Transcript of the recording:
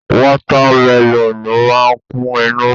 Wata meloonu máa ń kún inú.